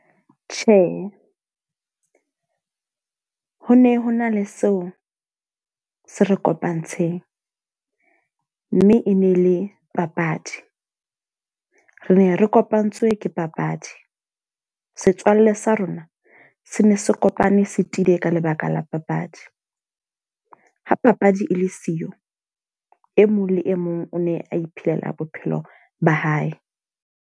Tjhe, ho ne ho na le seo se re kopantsheng. Mme e ne le papadi. Re ne re kopantswe ke papadi, setswalle sa rona se ne se kopane se tiile ka lebaka la papadi. Ha papadi e le siyo, e mong le e mong o ne a iphelela bophelo ba hae.